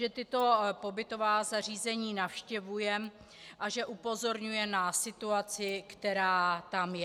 Že tato pobytová zařízení navštěvuje a že upozorňuje na situaci, která tam je.